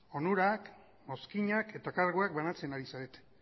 onurak mozkinak eta karguak banatzen ari zarete